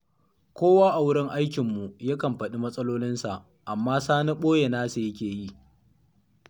Kowa a wurin aikinmu yakan faɗi matsalolinsa, amma Sani ɓoye nasa yake yi.